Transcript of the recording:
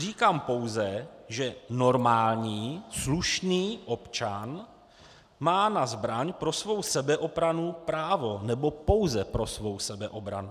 Říkám pouze, že normální slušný občan má na zbraň pro svou sebeobranu právo - nebo pouze pro svou sebeobranu.